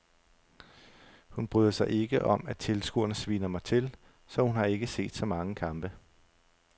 Hun bryder sig ikke om at tilskuerne sviner mig til, så hun har ikke set så mange kampe.